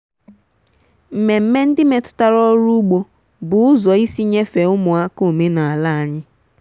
mmemme ndị metụtara ọrụ ugbo bụ ụzọ isi nyefee ụmụaka omenala anyị.